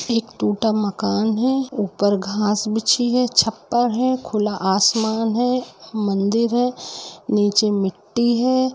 ठीक टूटा मकान है ऊपर घास बिछी है छप्पर है खुला आसमान है मंदिर है नीचे मिट्टी है।